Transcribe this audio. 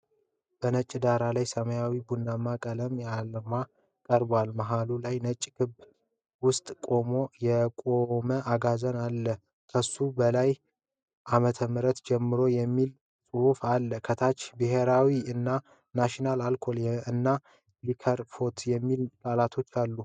በነጭ ዳራ ላይ ሰማያዊና ቡናማ ቀለም ያለው አርማ ቀርቧል። መሃሉ ላይ ነጭ ክበብ ውስጥ ቆሞ የቆመ አጋዘን አለ። ከሱ በላይ“ከ ፲፱፻፮ ዓም ጀምሮ” የሚል ጽሑፍ አለ። ከታች “ብሔራዊ” እና “ናሽናል አልኮሆል እና ሊከር ፋክተሪ” የሚሉ ቃላቶች አሉ።